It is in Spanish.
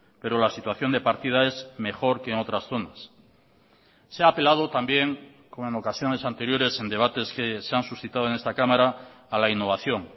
pero la situación de partida es mejor que en otras zonas se ha apelado también como en ocasiones anteriores en debates que se han suscitado en esta cámara a la innovación